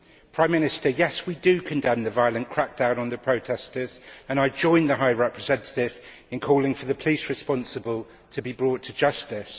Prime Minister, yes, we do condemn the violent crackdown on the protestors, and I join the High Representative in calling for the police responsible to be brought to justice.